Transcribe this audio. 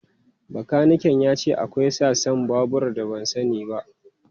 Bakanikan ya ce akwai sassan babur da ban sani ba.